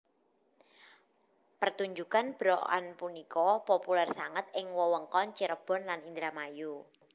Pertunjukan berokan punika populer sanget ing wewengkon Cirebon lan Indramayu